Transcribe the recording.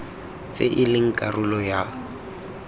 tse e leng karolo ya